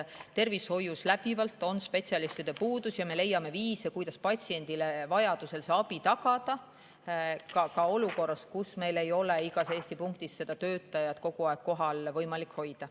Tervishoius on läbivalt spetsialistide puudus ja me leiame viise, kuidas patsiendile vajaduse korral abi tagada, ka olukorras, kus meil ei ole igas Eesti punktis seda töötajat kogu aeg kohapeal võimalik hoida.